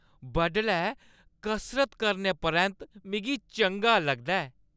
बडलै कसरत करने परैंत्त मिगी चंगा लगदा ऐ।